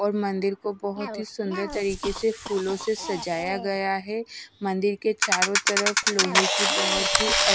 और मंदिर को बहुत ही सुन्दर तरीके से फूलों से सजाया गया है मंदिर के चारों तरफ लोहे बहोत ही अ--